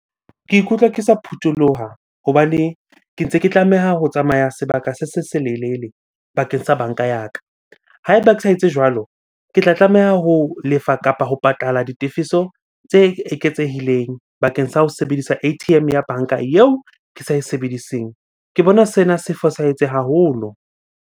Ke ikutlwa ke sa phutholoha hobane ke ntse ke tlameha ho tsamaya sebaka se se selelele bakeng sa banka ya ka. Ha eba ke sa etse jwalo, ke tla tlameha ho lefa kapa ho patala ditefiso tse eketsehileng bakeng sa ho sebedisa A_T_M ya banka eo ke sa e sebediseng. Ke bona sena se fosahetse haholo.